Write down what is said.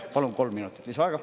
Palun kolm minutit lisaaega.